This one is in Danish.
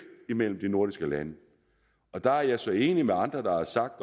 mellem de nordiske lande der er jeg så enig med andre også